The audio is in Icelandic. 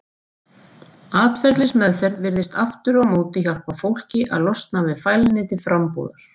Atferlismeðferð virðist aftur á móti hjálpa fólki að losna við fælni til frambúðar.